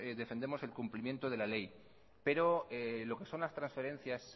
defendemos el cumplimiento de la ley pero lo que son las transferencias